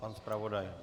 Pan zpravodaj?